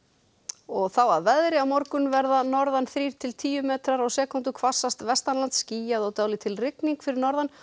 og þá að veðri á morgun verða norðan þrír til tíu metrar á sekúndu hvassast skýjað og dálítil rigning fyrir norðan